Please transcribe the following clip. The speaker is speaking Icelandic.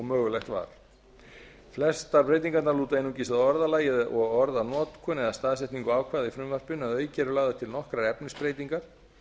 mögulegt var flestar breytingarnar lúta einungis að orðalagi og orðanotkun eða staðsetningu ákvæða í frumvarpinu en að auki eru lagðar til nokkrar efnisbreytingar